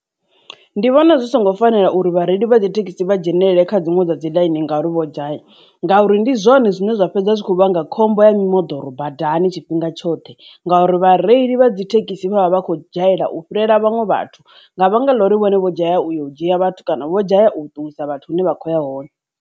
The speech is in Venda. Ndi vhona zwi songo fanela uri vhareili vha thekhisi vha dzhenelele kha dziṅwe dza dziḽaini ngauri vho dzhaya ngauri ndi zwone zwine zwa fhedza zwi khou vhanga khombo ya mimoḓoro badani tshifhinga tshoṱhe, ngauri vhareili vha dzithekhisi vha vha vha khou dzhayela u fhirela vhaṅwe vhathu nga vhanga ḽa uri vhone vho dzhaya u yo u dzhia vhathu kana vho dzhaya u isa vhathu hune vha khou ya hone.